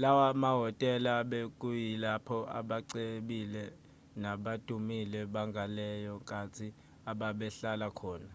lawa mahhotela bekuyilapho abacebile nabadumile bangaleyo nkathi ababehlala khona